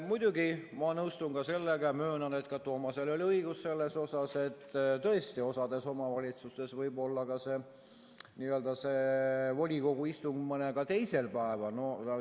Muidugi ma nõustun ka sellega – möönan, et Toomasel oli õigus –, et tõesti, mõnes omavalitsuses võib olla volikogu istung mõnel teisel päeval.